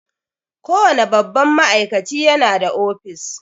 Kowane babban ma'aikaci ya na da office